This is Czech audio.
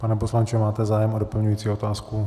Pane poslanče, máte zájem o doplňující otázku?